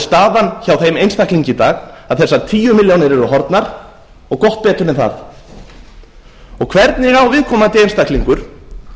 staðan hjá þeim einstaklingi í dag að þessar tíu milljónir eru horfnar og gott betur en það hvernig á viðkomandi einstaklingur